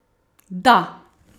Da!